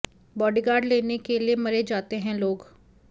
bodyguard लेने के लिए मरे जाते हैं लोग